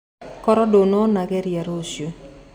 Koro ndũnona geria rũcio.